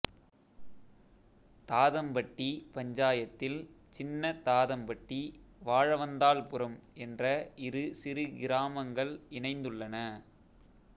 தாதம்பட்டி பஞ்சாயத்தில் சின்ன தாதம்பட்டி வாழவந்தாள்புரம் என்ற இரு சிறு கிராமங்கள் இணைந்துள்ளன